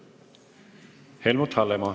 Helmut Hallemaa.